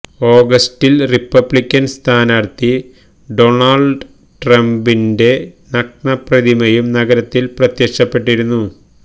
ഓഗസ്റ്റില് Republican സ്ഥാനാര്ത്ഥി Donald ട്രംപിന്റെ നഗ്ന പ്രതിമയും നഗരത്തില് പ്രത്യക്ഷപ്പെട്ടിരുന്നു